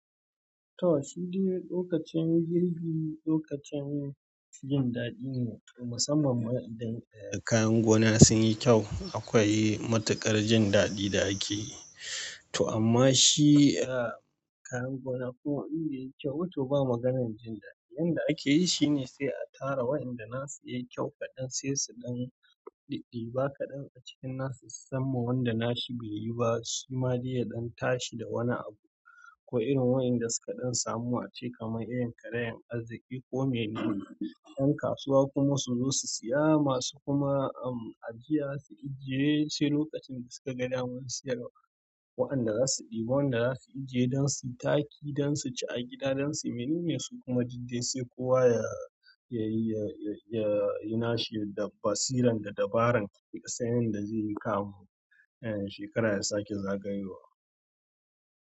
To shi dai lokacin girbi, lokacin jin daɗi ne musamman idan kayan gona sun yi kyau. Akwai matuƙar jin daɗin da ake to amma shi, kayan gona ko inbe yi kyau ba to ba maganar jin daɗi. Yanda ake yi shine sai a tara waɗanda na su yayi kyau kaɗan sai su ɗan ɗiɗi. Adiba kaɗan a cikin na su sam ma wanda na shi bai yi ba. Shi ma dai ya ɗan tashi da wani abu. Ko irin waɗanda suka ɗan samu ace kamar irin karayen arziki ko mene ne. Yan kasuwa kuma su zo su siya. Masu kuma ajiya su ajiye sai lokacin da suka ga damar siyarwa. Waɗanda za su ɗiba wanda za su ajiye don su taki, don su ci a gida don su mene ne su kuma diɗe sai kowa ya yi, ya yi na shi da basiran da dabarar sayan da zai yi kamu. Shekara ya sake zagayowa.